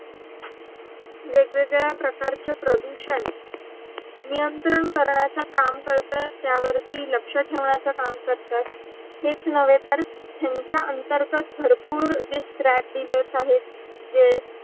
वेग वेगड्या प्रकारचे प्रदूषण नियंत्रण करण्याचा काम कराये त्या वरती लक्ष ठेवण्याचा काम करताय. हेच अवे तर यांचा अंतरघट बहर्पुर् जे scrap dealers आहेत जे